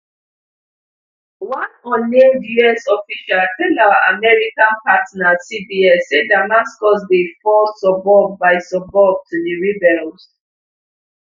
one unnamed us official tell our american partner cbs say damascus dey fall suburb by suburb to di rebels